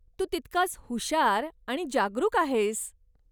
तू तितकाच हुशार आणि जागरूक आहेस.